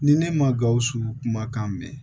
Ni ne ma gawusu kumakan mɛn